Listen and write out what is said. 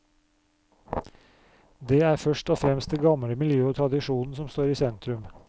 Det er først og fremst det gamle miljøet og tradisjonen som står i sentrum.